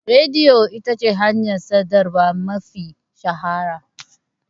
Rediyo ita ce hanyar sadarwa mafi shahara.